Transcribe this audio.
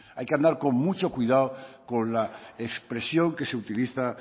hay que andar con mucho cuidado con la expresión que se utiliza